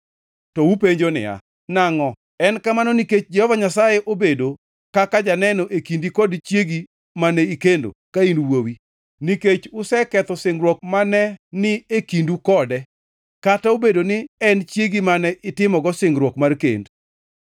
To upenjo niya, “Nangʼo?” En kamano nikech Jehova Nyasaye obedo kaka janeno e kindi kod chiegi mane ikendo ka in wuowi, nikech useketho singruok mane ni e kindu koda. Kata obedo ni en chiegi mane itimogo singruok mar kend.